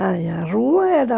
Aí, a rua era...